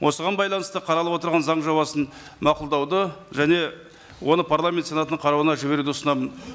осыған байланысты қаралып отырған заң жобасын мақұлдауды және оны парламент сенатының қарауына жіберуді ұсынамын